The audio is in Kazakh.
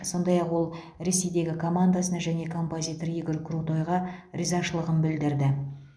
сондай ақ ол ресейдегі командасына және композитор игорь крутойға ризашылығын білдірді